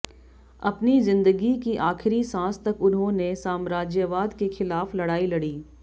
अपनी ज़िंदगी की आखिरी सांस तक उन्होंने साम्राज्यवाद के ख़िलाफ़ लड़ाई लड़ी